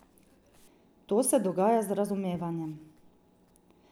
To se dogaja z razumevanjem.